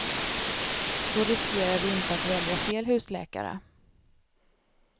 Då riskerar vi inte att välja fel husläkare.